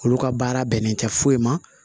Olu ka baara bɛnnen tɛ foyi ma